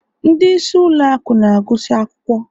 ndị isi ụlọ akụ na-agụsị akwụkwọ